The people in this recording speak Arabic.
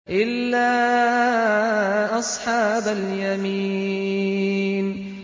إِلَّا أَصْحَابَ الْيَمِينِ